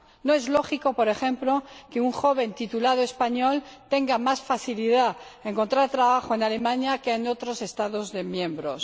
No es lógico, por ejemplo, que un joven titulado español tenga más facilidad para encontrar trabajo en Alemania que en otros Estados miembros.